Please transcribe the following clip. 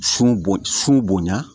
Sun bon sun bonya